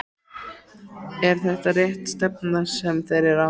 Er þetta rétt stefna sem þeir eru á?